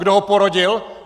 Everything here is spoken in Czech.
Kdo ho porodil?